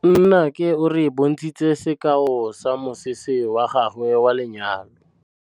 Nnake o re bontshitse sekaô sa mosese wa gagwe wa lenyalo.